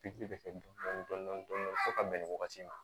Pikiri bɛ kɛ dɔni dɔni dɔni fo ka bɛn nin wagati ma